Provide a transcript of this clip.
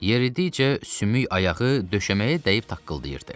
Yeridikcə sümük ayağı döşəməyə dəyib taqqıldayırdı.